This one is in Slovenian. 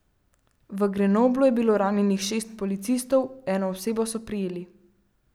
V Grenoblu je bilo ranjenih šest policistov, eno osebo so prijeli.